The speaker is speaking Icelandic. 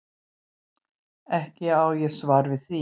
Ekki á ég svar við því.